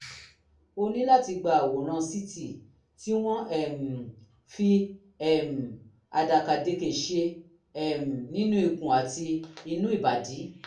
o ní láti gba àwòrán ct tí wọ́n um fi um àdàkàdekè ṣe um nínú ikùn àti inú ìbàdí